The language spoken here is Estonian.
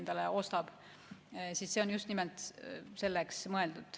See raha on mõeldud just nimelt selleks.